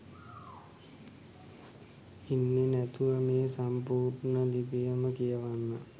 ඉන්නේ නැතුව මේ සම්පුර්ණ ලිපියම කියවන්න